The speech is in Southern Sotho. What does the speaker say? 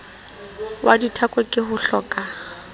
wa dithako ke hohloka a